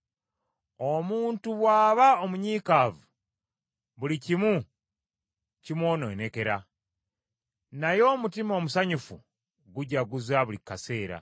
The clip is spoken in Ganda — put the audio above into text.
Omuntu bw’aba omunyiikaavu, buli kimu kimwononekera, naye omutima omusanyufu gujaguza buli kaseera.